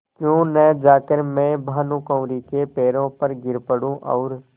क्यों न जाकर मैं भानुकुँवरि के पैरों पर गिर पड़ूँ और